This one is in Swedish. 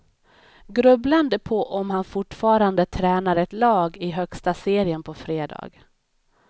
Grubblande på om han fortfarande tränar ett lag i högsta serien på fredag.